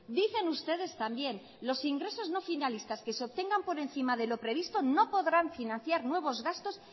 dicen ustedes también los ingresos no finalistas que se obtengan por encima de lo previsto no podrán financiar nuevos gastos